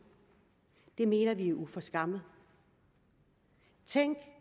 mener vi er uforskammet tænk